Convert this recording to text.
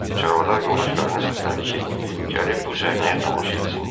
Çarvadar yoldaşlarını səslədi ki, gəlib bu səhnəyə tamaşa etsinlər.